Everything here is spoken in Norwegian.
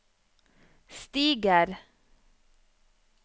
stiger